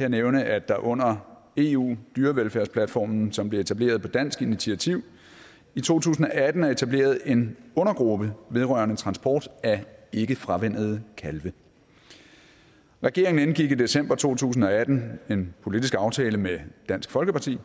jeg nævne at der under eu dyrevelfærdsplatformen som blev etableret på dansk initiativ i to tusind og atten er etableret en undergruppe vedrørende transport af ikkefravænnede kalve regeringen indgik i december to tusind og atten en politisk aftale med dansk folkeparti